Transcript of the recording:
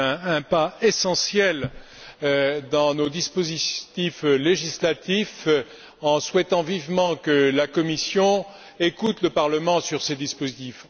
C'est un pas essentiel dans nos dispositifs législatifs, en souhaitant vivement que la Commission écoute le Parlement sur ces dispositifs.